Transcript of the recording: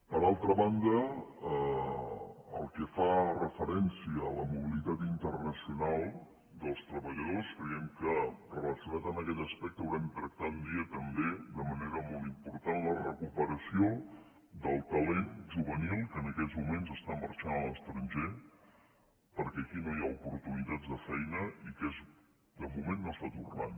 per altra banda en el que fa referència a la mobilitat internacional dels treballadors creiem que relacionat amb aquest aspecte haurem de tractar un dia també de manera molt important la recuperació del talent juvenil que en aquests moments està marxant a l’estranger perquè aquí no hi ha oportunitats de feina i que de moment no està tornant